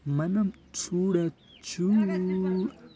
మనం చూడచ్చు--